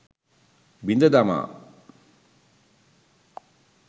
බිඳ දමා